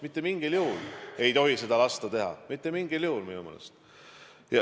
Mitte mingil juhul ei tohi seda lasta teha – mitte mingil juhul minu meelest.